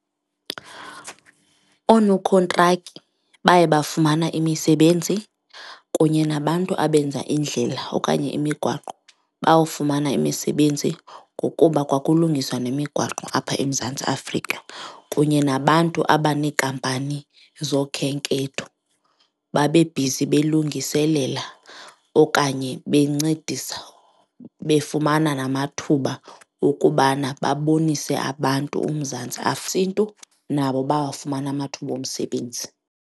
Oonokhontrakhi baye bafumana imisebenzi kunye nabantu abenza iindlela okanye imigwaqo bawufumana imisebenzi ngokuba kwakulungiswa nemigwaqo apha eMzantsi Afrika kunye nabantu abaneenkampani zokhenketho babe bhizi belungiselela okanye bencedisa befumana namathuba okubana babonise abantu uMzantsi nabo bawafumana amathuba omsebenzi.